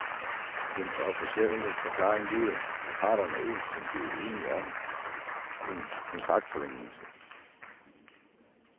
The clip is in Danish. Den officielle forklaring lyder, at parterne ikke kunne blive enige om en kontraktforlængelse.